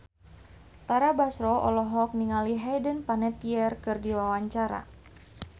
Tara Basro olohok ningali Hayden Panettiere keur diwawancara